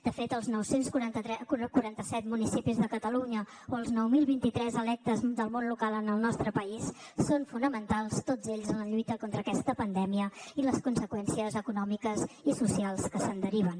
de fet els nou cents i quaranta set municipis de catalunya o els nou mil vint tres electes del món local en el nostre país són fonamentals tots ells en la lluita contra aquesta pandèmia i les conseqüències econòmiques i socials que se’n deriven